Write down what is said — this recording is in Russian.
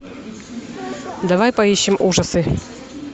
давай поищем ужасы